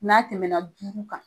N'a tɛmɛ na duuru kan